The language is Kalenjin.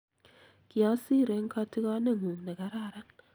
kiosir eng katikonengung ne kararan